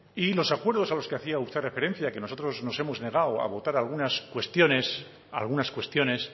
y los acuerdos a los que hacía usted referencia que nosotros nos hemos negado a votar algunas cuestiones algunas cuestiones